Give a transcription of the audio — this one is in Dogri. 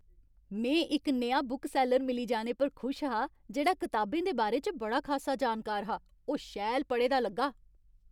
में इक नेहा बुकसैल्लर मिली जाने पर खुश हा जेह्ड़ा कताबें दे बारे च बड़ा खासा जानकार हा। ओह् शैल पढ़े दा लग्गा।